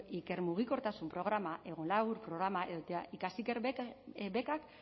ikermugikortasun programa programa ikasiker bekak